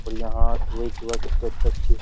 और यहां सुबह सुबह कितनी अच्छी-अच्छी --